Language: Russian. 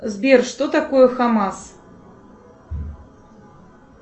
сбер что такое хамас